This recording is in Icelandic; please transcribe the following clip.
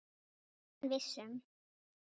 Það var hann viss um.